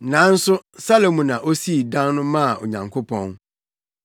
Nanso Salomo na osii dan no maa Onyankopɔn.